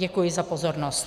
Děkuji za pozornost.